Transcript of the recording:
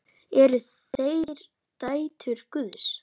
Eru þær dætur Guðs?